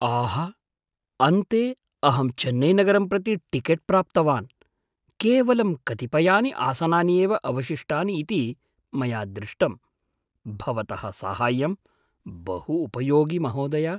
आह, अन्ते अहं चेन्नैनगरं प्रति टिकेट् प्राप्तवान्, केवलं कतिपयानि आसनानि एव अवशिष्टानि इति मया दृष्टम्, भवतः साहाय्यं बहु उपयोगि महोदय।